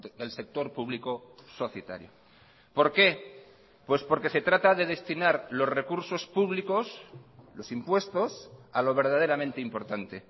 del sector público societario por qué pues porque se trata de destinar los recursos públicos los impuestos a lo verdaderamente importante